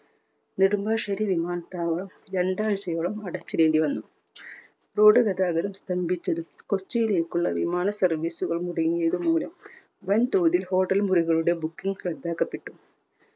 നെടുമ്പാശ്ശേരി വിമാനത്താവളം രണ്ടാഴ്ചയോളം അടച്ചിടേണ്ടി വന്നു. road ഗതാഗതം സ്തംഭിച്ചതും കൊച്ചിയിലേക്കുള്ള വിമാന service കൾ മുടങ്ങിയത് മൂലം വൻ തോതിൽ hotel മുറികളുടെ bookings റദ്ദാക്കപ്പെട്ടു.